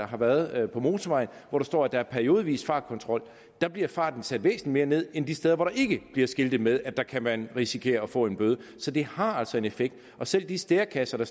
har været på motorvejen hvor der står at der er periodevis fartkontrol bliver farten sat væsentligt mere ned end de steder hvor der ikke bliver skiltet med at der kan man risikere at få en bøde så det har altså en effekt selv de stærekasser